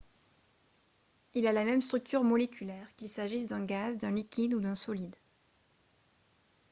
il a la même structure moléculaire qu'il s'agisse d'un gaz d'un liquide ou d'un solide